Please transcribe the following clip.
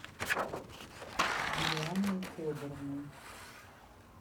юлианой федоровной